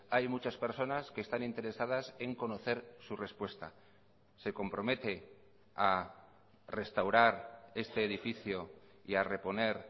hay muchas personas que están interesadas en conocer su respuesta se compromete a restaurar este edificio y a reponer